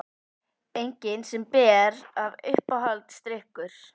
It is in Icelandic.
Engin sem ber af Uppáhaldsdrykkur?